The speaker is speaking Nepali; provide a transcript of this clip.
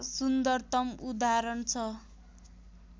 सुन्दरतम उदाहरण छ